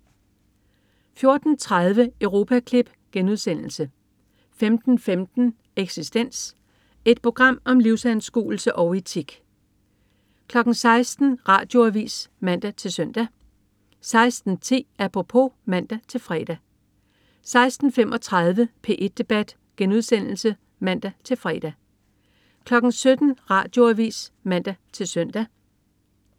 14.30 Europaklip* 15.15 Eksistens. Et program om livsanskuelse og etik 16.00 Radioavis (man-søn) 16.10 Apropos (man-fre) 16.35 P1 debat* (man-fre) 17.00 Radioavis (man-søn)